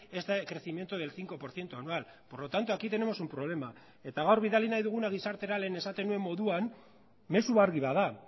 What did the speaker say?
este crecimiento del cinco por ciento anual por lo tanto aquí tenemos un problema eta gaur bidali nahi duguna gizartera lehen esaten nuen moduan mezu argi bat da